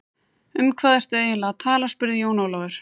Um hvað ertu eiginlega að tala spurði Jón Ólafur.